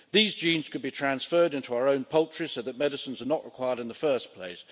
These genes could be transferred into our own poultry so that medicines are not required in the first place.